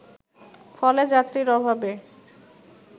ফলে যাত্রীর অভাবে